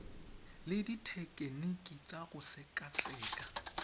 le dithekeniki tsa go sekaseka